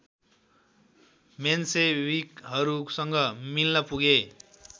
मेन्सेविकहरूसँग मिल्न पुगे